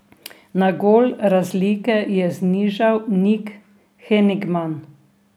Na gol razlike je znižal Nik Henigman.